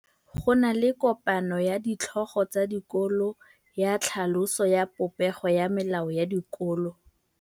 Go na le kopanô ya ditlhogo tsa dikolo ya tlhaloso ya popêgô ya melao ya dikolo.